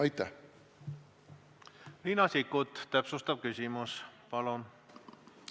Riina Sikkut, täpsustav küsimus, palun!